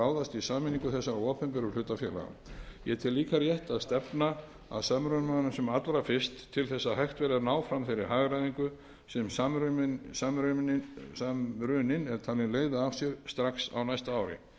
ráðast í sameiningu þessara opinberu hlutafélaga ég tel líka rétt að stefna að samrunanum sem allra fyrst til að hægt verði að ná fram þeirri hagræðingu sem samruninn er talinn leiða af sér strax á næsta ári virðulegi forseti ég